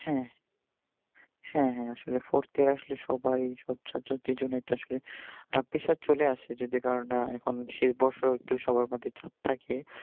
হ্যাঁ হ্যাঁ হ্যাঁ আসলে fourth year আসলে সবাই সব subject এর জন্যে একটা আসলে আহ pressure চলে আসে যদি কারোর না এখন সে একটু সবার মধ্যে চাপ থাকে